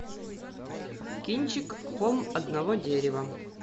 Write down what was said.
кинчик холм одного дерева